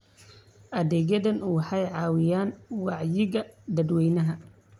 Adeegyadani waxay caawiyaan wacyiga dadweynaha.